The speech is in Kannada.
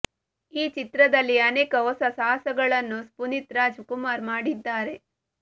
ಈ ಚಿತ್ರದಲ್ಲಿ ಅನೇಕ ಹೊಸ ಸಾಹಸಗಳನ್ನು ಪುನೀತ್ ರಾಜ್ ಕುಮಾರ್ ಮಾಡಿದ್ದಾರೆ